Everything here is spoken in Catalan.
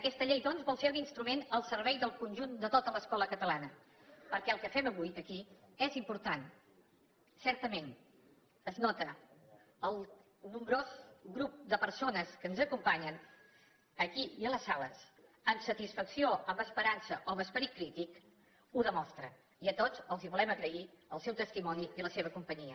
aquesta llei doncs vol ser un instrument al servei del conjunt de tota l’escola catalana perquè el que fem avui aquí és important certament es nota el nombrós grup de persones que ens acompanyen aquí i a les sales amb satisfacció amb esperança o amb esperit crític ho demostra i a tots els volem agrair el seu testimoni i la seva companyia